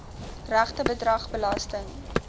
regte bedrag belasting